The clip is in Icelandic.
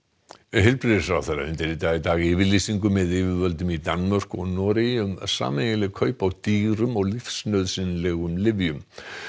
heilbrigðisráðherra undirritaði í dag yfirlýsingu með yfirvöldum í Danmörku og Noregi um sameiginleg kaup á dýrum og lífsnauðsynlegum lyfjum